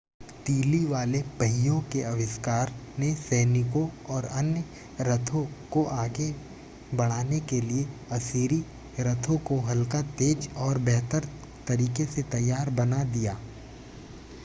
तीली वाले पहियों के आविष्कार ने सैनिकों और अन्य रथों को आगे बढ़ाने के लिए असीरी रथों को हल्का तेज और बेहतर तरीके से तैयार बना दिया